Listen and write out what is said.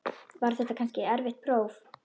Var þetta kannski erfitt próf?